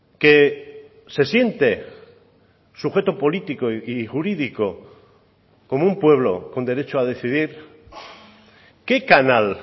que se siente sujeto político y jurídico como un pueblo con derecho a decidir qué canal